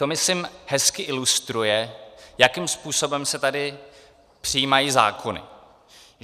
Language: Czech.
To myslím hezky ilustruje, jakým způsobem se tady přijímají zákony.